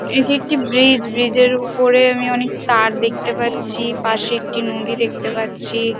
এটি একটি bridge. Bridge -এর উপরে আমি অনেক তার দেখতে পারছি। পশে একটি নদী দেখতে পারছি |